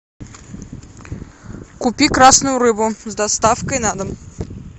купи красную рыбу с доставкой на дом